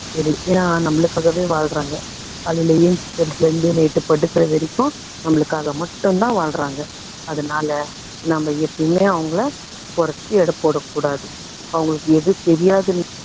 சரி, ஏன்னா நம்மளுக்காகவே வாழுறாங்க. காலையில ஏன்ச்சுக்குறதுல இருந்து night படுக்குற வரைக்கும் நம்மளுக்காக மட்டும் தான் வாழ்றாங்க. அதனால நம்ம எப்பயுமே அவங்களை குறைச்சு எடை போட கூடாது. அவங்களுக்கு எது தெரியாதுன்னு